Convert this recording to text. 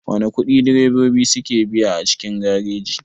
Wana ƙudi direbobi suke biya a cikin gareji?